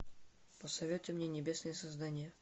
посоветуй мне небесные создания